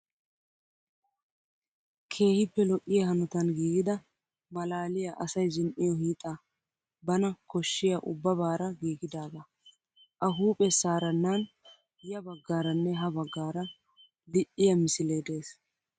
Keehippe lo'iyaa hanotan giigida maalaaliyaa asayi zin'iyoo hiixa bana koshshiyaa ubbabaara giigidaagaa. A hupheessaarannan ya baggaaranne ha baggaara l'iyaa misilee des.